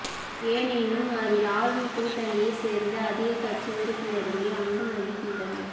எனினும் அதில் ஆளும் கூட்டணியை சேர்ந்த அதிக கட்சி உறுப்பினர்களே அங்கம் வகிக்கின்றனர்